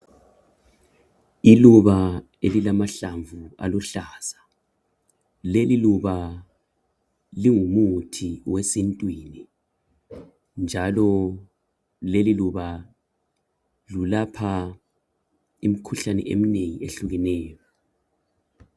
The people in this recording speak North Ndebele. Iluba elila mahlamvu aluhlaza. Leli luba lingu muthi wesintwini. Njalo leli luba lelapha imkhuhlane eminengi eyehlukeneyo.